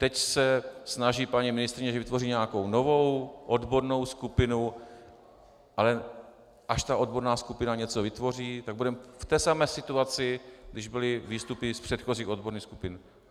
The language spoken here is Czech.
Teď se snaží paní ministryně, že vytvoří nějakou novou odbornou skupinu, ale až ta odborná skupina něco vytvoří, tak budeme v té samé situaci, když byly výstupy z předchozích odborných skupin.